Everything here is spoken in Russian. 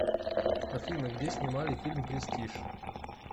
афина где снимали фильм престиж